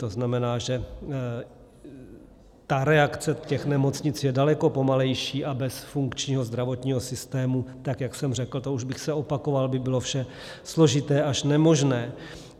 To znamená, že reakce z těch nemocnic je daleko pomalejší, a bez funkčního zdravotního systému, tak jak jsem řekl, to už bych se opakoval, by bylo vše složité až nemožné.